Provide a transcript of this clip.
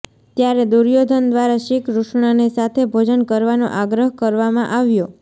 ત્યારે દુર્યોધન દ્વારા શ્રીકૃષ્ણને સાથે ભોજન કરવાનો આગ્રહ કરવામાં આવ્યો